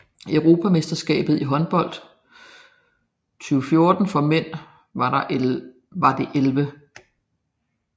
Europamesterskabet i håndbold 2014 for mænd var det 11